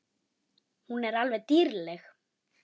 Hún er alveg dýrleg!